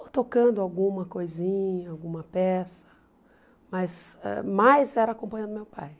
ou tocando alguma coisinha, alguma peça, mas ãh mais era acompanhando meu pai.